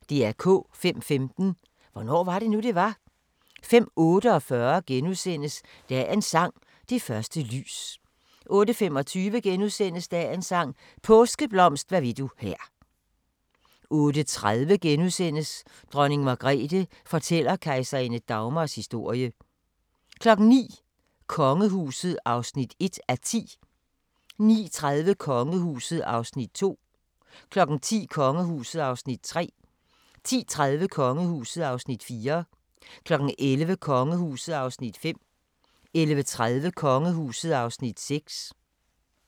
05:15: Hvornår var det nu, det var? 05:48: Dagens sang: Det første lys * 08:25: Dagens sang: Påskeblomst hvad vil du her * 08:30: Dronning Margrethe fortæller kejserinde Dagmars historie * 09:00: Kongehuset (1:10) 09:30: Kongehuset (2:10) 10:00: Kongehuset (3:10) 10:30: Kongehuset (4:10) 11:00: Kongehuset (5:10) 11:30: Kongehuset (6:10)